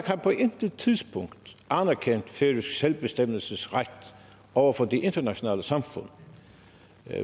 har på intet tidspunkt anerkendt færøsk selvbestemmelsesret over for det internationale samfund